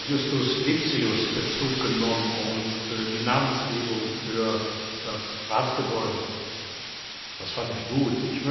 Justus Lipsius Bezug genommen und die Namensgebung für das Ratsgebäude das fand ich gut!